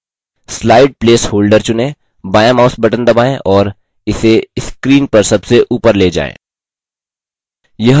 slide placeholder चुनें बायाँ mouse button दबाएँ और इसे screen पर सबसे ऊपर ले जाएँ